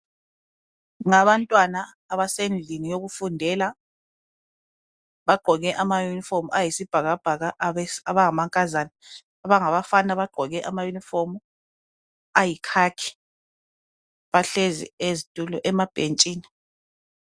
Ngabantwa abasendlini yokufundela, bagqoke ama yunifomu ayisibhakabhaka abangamankazana, abangabafana bagqoke ama yunifomu ayikhakhi, bahlezi ezitulweni emabhentshini